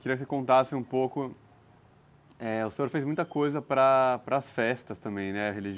Eu queria que você contasse um pouco, é... O senhor fez muita coisa para para as festas também, né? reli